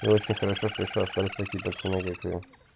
и очень хорошо что ещё остались такие пацаны как вы